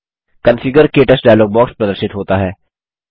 configure - क्टच dialog box प्रदर्शित होता है